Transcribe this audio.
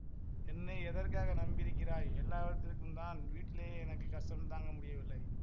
என்னை எதற்காக நம்பியிருக்கிறாய் எல்லாவற்றுக்குந்தான் வீட்டிலேயே எனக்கு கஷ்டம் தாங்க முடியவில்லை